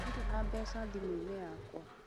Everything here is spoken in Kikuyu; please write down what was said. Ndirĩ na mbeca thimũ-inĩ yakwa